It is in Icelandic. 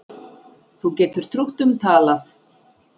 Þú getur trútt um talað